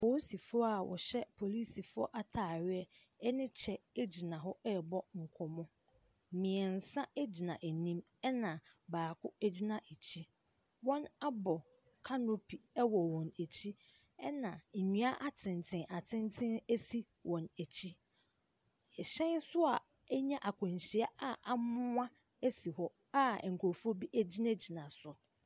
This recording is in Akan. Poosifoɔ a wɔhyɛ polisifoɔ ataareɛ ne kyɛ gyina hɔ rebɔ nkɔmmɔ. Mmiɛnsa gyina anim na baako gyina akyi. Wɔabɔ kanopi wɔ wɔn akyi. Ɛna nnua atenten atenten si wɔn akyi. Ɛhyɛn nso a ɛnya akwanyia a amoa si hɔ a nkrɔfoɔ bi gyinagyina so.